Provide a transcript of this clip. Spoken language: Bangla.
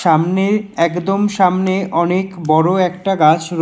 সামনে একদম সামনে অনেক বড় একটা গাছ র--